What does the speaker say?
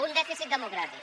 un dèficit democràtic